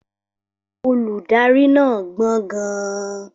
Olùdarí náà gbọ́n gan-an.